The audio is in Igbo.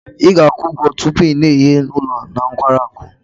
Ị ga-akwụ ụgwọ tupu ị na-enye ụlọ na nkwari akụ.